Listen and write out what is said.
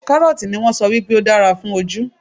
Kárọ́ọ̀tì ni wón sọ wípé ó dára fún ojú.